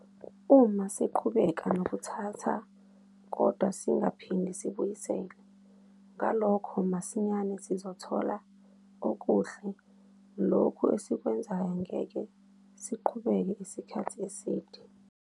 Uma siqhubeka nokuthatha kodwa singaphindi sibuyisele, ngalokho masinyane sizothola ukuhi lokho esikwenzayo ngeke siqhubeke isikhathi eside.